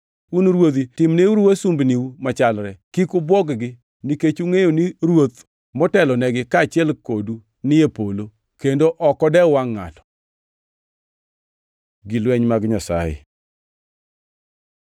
Un Ruodhi timneuru wasumbiniu machalre. Kik ubwog-gi, nikech ungʼeyo ni Ruoth motelonegi, kaachiel kodu ni e polo, kendo ok odew wangʼ ngʼato. Gii lweny mag Nyasaye